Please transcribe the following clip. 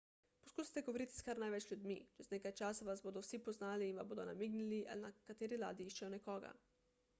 poskusite govoriti s kar največ ljudmi čez nekaj časa vas bodo vsi poznali in vam bodo namignili ali na kateri ladji iščejo nekoga